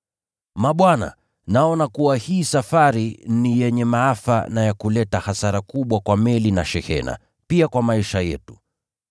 “Mabwana, naona kuwa hii safari ni yenye maafa na ya kuleta hasara kubwa kwa meli na shehena, pia kwa maisha yetu.”